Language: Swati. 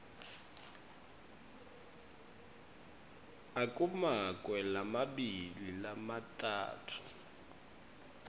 akumakwe lamabili lamatsatfu